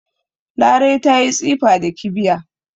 Larai ta yi tsifa da kibiya